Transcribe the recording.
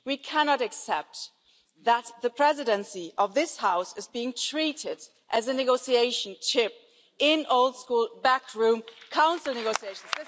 We cannot accept that the Presidency of this House is being treated as a bargaining chip in old school backroom Council negotiations.